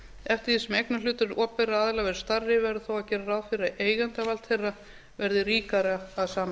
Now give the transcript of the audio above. eftir því sem eignarhlutur opinberra aðila verður stærri verður þó að gera ráð fyrir að eigendavald þeirra verði ríkara að sama